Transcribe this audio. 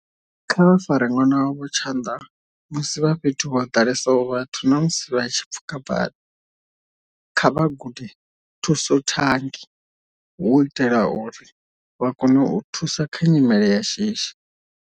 Kha vha fare ṅwana wavho tshanḓa musi vha fhethu ho ḓalesaho vhathu na musi vha tshi pfuka bada. Kha vha gude thusothangi u itea uri vha kone u thusa kha nyimele ya shishi.